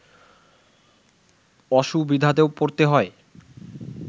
অসুবিধাতেও পড়তে হয়